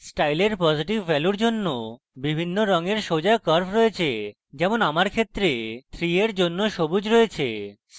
স্টাইলের positive ভ্যালুর জন্য বিভিন্ন রঙের সোজা curve রয়েছে যেমন আমার ক্ষেত্রে 3 for জন্য সবুজ রয়েছে